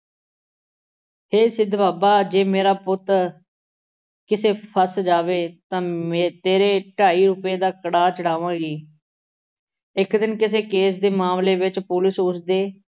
ਹੇ ਸਿੱਧ ਬਾਬਾ ਜੇ ਮੇਰਾ ਪੁੱਤ ਕਿਤੇ ਫਸ ਜਾਵੇ ਤਾਂ ਮੇ ਅਹ ਤੇਰੇ ਢਾਈ ਰੁਪਏ ਦਾ ਕੜਾਅ ਚੜ੍ਹਾਵਾਂਗੀ। ਇੱਕ ਦਿਨ ਕਿਸੇ ਕੇਸ ਦੇ ਮਾਮਲੇ ਵਿੱਚ ਪੁਲਿਸ ਉਸ ਦੇ